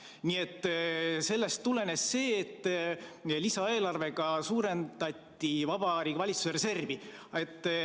Nii et sellest tulenes see, et lisaeelarvega suurendati Vabariigi Valitsuse reservi.